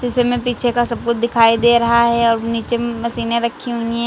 शीशे में पीछे का सब कुछ दिखाई दे रहा है और नीचे में मशीने रखी हुई हैं।